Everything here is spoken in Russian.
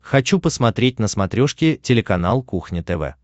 хочу посмотреть на смотрешке телеканал кухня тв